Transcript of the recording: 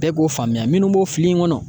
Bɛɛ b'o faamuya minnu b'o fili in kɔnɔ